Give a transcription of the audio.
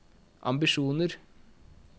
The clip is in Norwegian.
ambisjoner